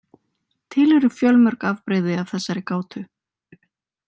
Til eru fjölmörg afbrigði af þessari gátu.